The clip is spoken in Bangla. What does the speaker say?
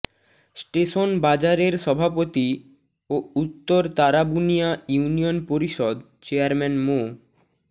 স্টেশন বাজারের সভাপতি ও উত্তর তারাবুনিয়া ইউনিয়ন পরিষদ চেয়ারম্যান মো